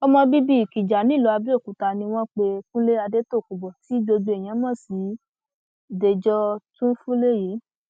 ọmọ bíbí ikija nílùú abẹọkúta ni wọn pe kúnlé adétòkùnbó tí gbogbo èèyàn mọ sí dèjò túnfúlé yìí